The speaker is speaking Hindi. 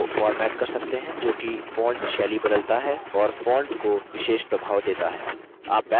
टेक्स्ट को फॉर्मेट कर सकते हैं जो कि फॉन्ट शैली बदलता है और फॉन्ट को विशेष प्रभाव देता है